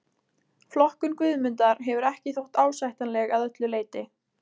Flokkun Guðmundar hefur ekki þótt ásættanleg að öllu leyti.